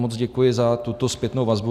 Moc děkuji za tuto zpětnou vazbu.